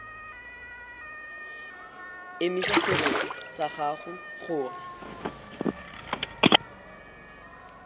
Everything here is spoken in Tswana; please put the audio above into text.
emisa serori sa gago gore